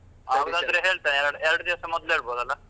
ಹೇಳ್ತೆ ಎರಡು ದಿವಸ ಮೊದ್ಲು ಹೇಳ್ಬೋದ್ ಅಲ್ಲ?